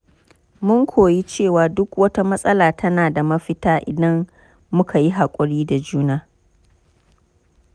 Mun koyi cewa duk wata matsala tana da mafita idan muka yi haƙuri da juna.